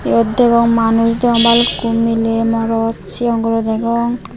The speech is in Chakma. yot degong manus degong balukkun miley morot sigon guro degong.